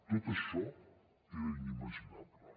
tot això era inimaginable